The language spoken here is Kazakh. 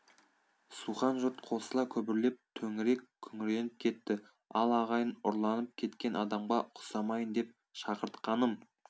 сухан жұрт қосыла күбірлеп төңірек күңіреніп кетті ал ағайын ұрланып кеткен адамға ұқсамайын деп шақыртқаным